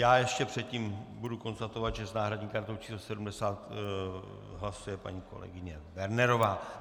Já ještě předtím budu konstatovat, že s náhradní kartou číslo 70 hlasuje paní kolegyně Wernerová.